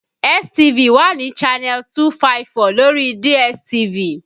STV wà ní channel 254 lórí DSTV